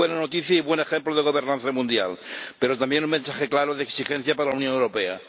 Muy buena noticia y buen ejemplo de gobernanza mundial, pero también un mensaje claro de exigencia para la Unión Europea.